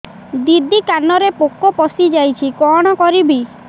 ଦିଦି କାନରେ ପୋକ ପଶିଯାଇଛି କଣ କରିଵି